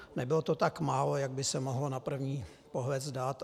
Nebylo to tak málo, jak by se mohlo na první pohled zdát.